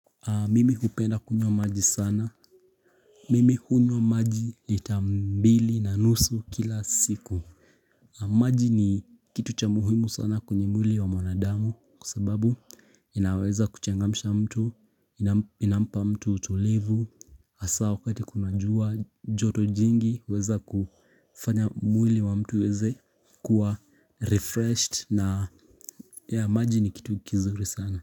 Mimi hupenda kunywa maji sana Mimi hunywa maji lita mbili na nusu kila siku maji ni kitu cha muhimu sana kwenye mwili wa mwanadamu kwa sababu inaweza kuchangamsha mtu inampa mtu utulivu hasa wakati kuna jua joto jingi huweza kufanya mwili wa mtu uweze kuwa refreshed na maji ni kitu kizuri sana.